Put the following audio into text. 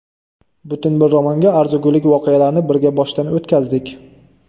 Butun bir romanga arzigulik voqealarni birga boshdan o‘tkazdik.